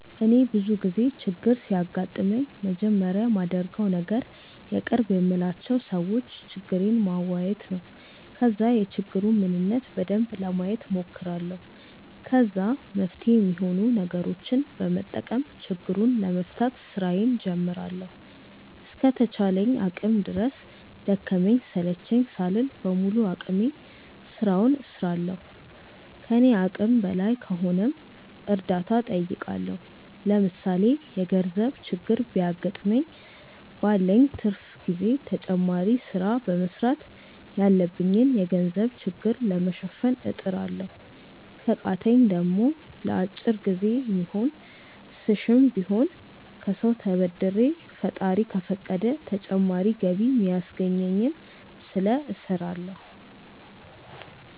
እኔ ብዙ ጊዜ ችግር ሲያጋጥመኝ መጀመሪያ ማደርገው ነገር የቅርብ የምላቸው ሰዎች ችግሬን ማዋየት ነው። ከዛ የችግሩን ምንነት በደንብ ለማየት ሞክራለሁ። ከዛ መፍትሄ ሚሆኑ ነገሮችን በመጠቀም ችግሩን ለመፍታት ስራዬን ጀምራለሁ። እስከ ተቻለኝ አቅም ድረስ ደከመኝ ሰለቸኝ ሳልል በሙሉ አቅሜ ስራውን እስራለሁ። ከኔ አቅም በላይ ከሆነም እርዳታ ጠይቃለሁ። ለምሳሌ የገርዘብ ችግር ቢያገጥመኝ ባለኝ ትርፍ ጊዜ ተጨማሪ ስራ በመስራት ያለብኝን የገንዘብ ችግር ለመሸፈን እጥራለሁ። ከቃተኝ ደሞ ለአጭር ጊዜ የሚሆን ስሽም ቢሆን ከሰው ተበድሬ ፈጣሪ ከፈቀደ ተጨማሪ ገቢ ሚያስገኘኝን ስለ እስራለሁ።